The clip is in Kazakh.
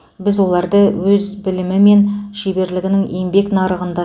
біз оларды өз білімі мен шеберлігін еңбек нарығында